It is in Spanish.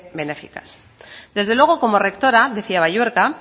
benéficas desde luego como rectora decía balluerka